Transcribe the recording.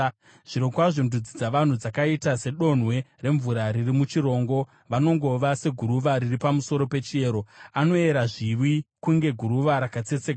Zvirokwazvo ndudzi dzavanhu dzakaita sedonhwe remvura riri muchirongo; vanongova seguruva riri pamusoro pechiyero; anoyera zviwi kunge guruva rakatsetseka.